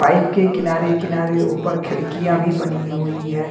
Pipe के किनारे किनारे ऊपर खिड़कियां भी बनी हुई है।